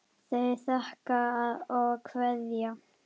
Þau þakka og kveðja.